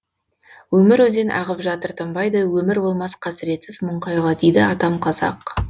өмір өзен ағып жатыр тынбайды өмір болмас қасіретсіз мұң қайғы дейді атам қазақ